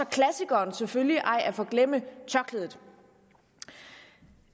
klassikeren selvfølgelig ej at forglemme tørklædet